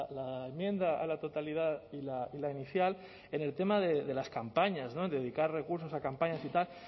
la enmienda a la totalidad y la inicial en el tema de las campañas dedicar recursos a campañas y tal